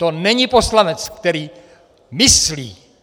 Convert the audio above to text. To není poslanec, který myslí.